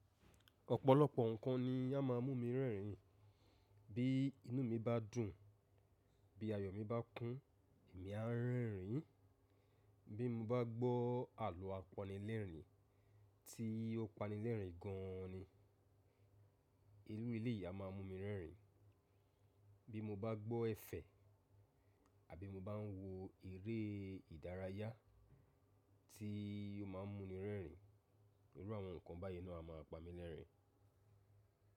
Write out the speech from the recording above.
Ọ̀pọ̀lọpọ̀ ǹkan ni á ma mú mi rẹ́rìn. Bí inú mi bá dùn, bí ayọ̀ mi bá kún èmi á rẹ́rìn. Bí mo bá gbọ́ àlọ́ apanilẹ́rìn tí ó pani lẹ́rìn gan an ni. Ìrú eléyìí a máa ń mú mi rẹ́rìn. Bí mo bá gbọ́ ẹ̀fẹ̀ àbí mo bá ń wo eré ìdárayá tí ó ma ń mú ni rẹ́rìn, irú àwọn ǹkan báyìí náà á ma pamí lẹ́rìn.